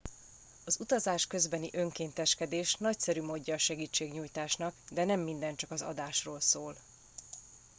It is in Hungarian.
az utazás közbeni önkénteskedés nagyszerű módja a segítségnyújtásnak de nem minden csak az adásról szól